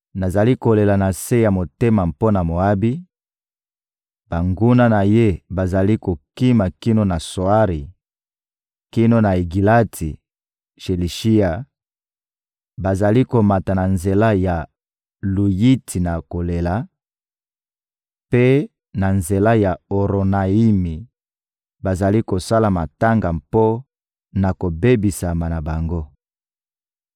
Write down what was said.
Nazali kolela na se ya motema mpo na Moabi, banguna na ye bazali kokima kino na Tsoari, kino na Egilati-Shelishiya; bazali komata na nzela ya Luyiti na kolela; mpe na nzela ya Oronayimi, bazali kosala matanga mpo na kobebisama na bango.